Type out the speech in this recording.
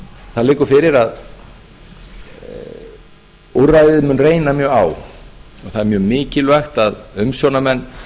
það liggur fyrir að úrræðið mun reyna mjög á það er mjög mikilvægt að umsjónarmenn